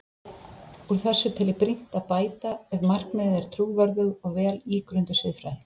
Úr þessu tel ég brýnt að bæta ef markmiðið er trúverðug og vel ígrunduð siðfræði.